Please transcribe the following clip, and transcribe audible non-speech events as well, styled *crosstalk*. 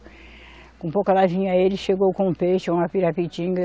Com pouca lá vinha, ele chegou com um peixe, uma. *unintelligible*